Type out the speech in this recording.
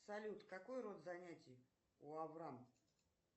салют какой род занятий у аврам